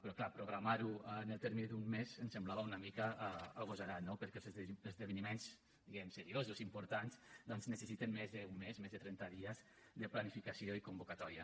però clar programar ho en el termini d’un mes ens semblava una mica agosarat no perquè els esdeveniments diguem ne seriosos i importants doncs necessiten més d’un mes més de trenta dies de planificació i convocatòria